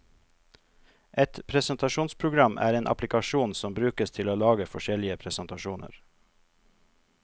Et presentasjonsprogram er en applikasjon som brukes til å lage forskjellige presentasjoner.